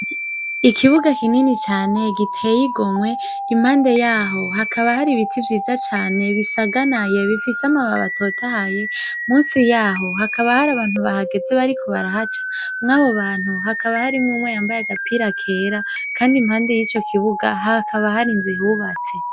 Ikibuga kinini cane giteyigomwe impande yaho hakaba hari ibiti vyiza cane bisaganaye bifise amababa atotahaye musi yaho hakaba hari abantu bahageze bariko barahaca mwo abo bantu hakaba harimwo umwe yambaye agapira kera, kandi impande y'ico kibuga hakaba hari nzihubatse.